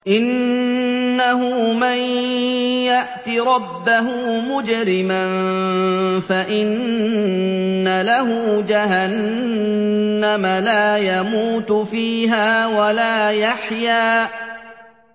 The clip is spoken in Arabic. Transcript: إِنَّهُ مَن يَأْتِ رَبَّهُ مُجْرِمًا فَإِنَّ لَهُ جَهَنَّمَ لَا يَمُوتُ فِيهَا وَلَا يَحْيَىٰ